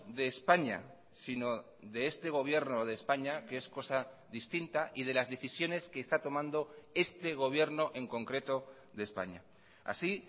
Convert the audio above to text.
de españa sino de este gobierno de españa que es cosa distinta y de las decisiones que está tomando este gobierno en concreto de españa así